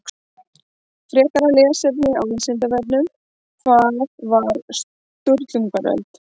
Frekara lesefni á Vísindavefnum Hvað var Sturlungaöld?